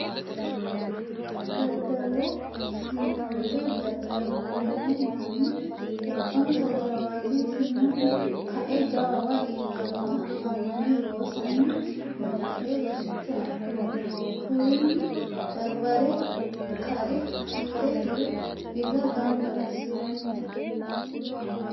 Daddalo shiimada dadda'lano manni hexxonsa jawate shiimuni kae jawawa iillanotta amane loosanni no gede rosicho adhoommo kurinni, barbare kare kiire hire birra gamba assiranni no.